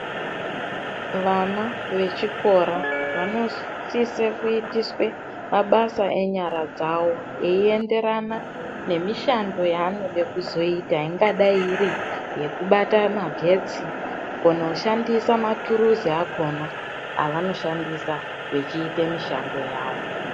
Vana vechikora vanosise kuitiswa mabasa enyara dzawo eienderana nemishando yaanoda kuzoita ingadayi iri yekubata magetsi kukone kushandisa maturuzi akhona evanoshandisa vechiite mishando yawo.